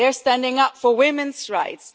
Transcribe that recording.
they are standing up for women's rights.